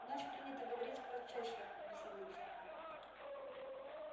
у нас принято говорить процессор веселится он